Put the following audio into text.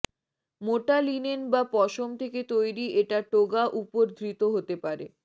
মোটা লিনেন বা পশম থেকে তৈরি এটা টোগা উপর ধৃত হতে পারে